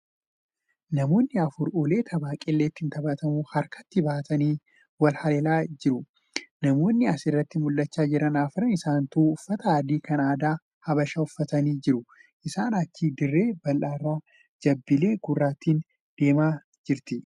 Namoonni afur ulee tapha qilee ittiin taphatamu harkatti baatanii wal haleelaa jieu. Namoonni asirratti mul'achaa jiran arfan isaanituu uffata adii kan aadaa habashaa uffatanii jiru. Isaanii achi dirree bal'aa irra jabilee gurraattiin deemaa jirti.